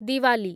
Diwali